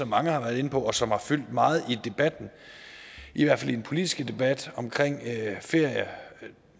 mange har været inde på og som har fyldt meget i debatten i hvert fald i den politiske debat omkring ferie